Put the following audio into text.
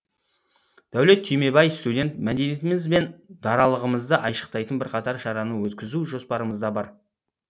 дәулет түймебай студент мәдениетіміз бен даралығымызды айшықтайтын бірқатар шараны өткізу жоспарымызда бар